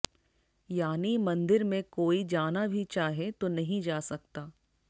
यानी मंदिर में कोई जाना भी चाहे तो नहीं जा सकता